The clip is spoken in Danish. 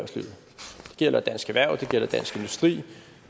gælder dansk erhverv det gælder dansk industri